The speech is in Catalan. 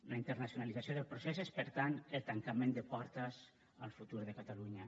la internacionalització del procés és per tant el tancament de portes al futur de catalunya